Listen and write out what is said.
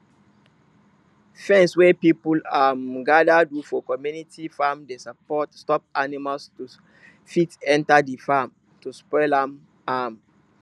fence wey people um gather do for community farm dey stop animal to fit enter de farm to spoil am am